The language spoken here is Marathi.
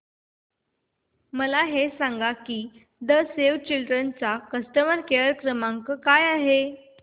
मला हे सांग की सेव्ह द चिल्ड्रेन चा कस्टमर केअर क्रमांक काय आहे